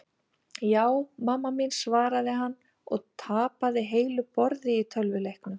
Ja, mamma mín svaraði hann og tapaði heilu borði í tölvuleiknum.